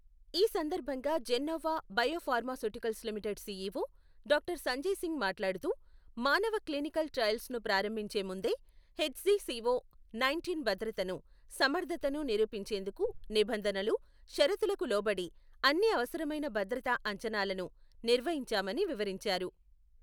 ఈ సందర్భంగా Gennova biopharmaceuticals limited CEO doctor Sanjay Singh మాట్లాడుతూ, మానవ క్లినికల్ ట్రయల్స్ను ప్రారంభించే ముందే హెచ్జిసిఒ నైంటీన్ భద్రతను, సమర్ధతను నిరూపించేందుకు నిబంధనలు, షరతులకు లోబడి అన్ని అవసరమైన భద్రత అంచనాలను నిర్వహించామని వివరించారు.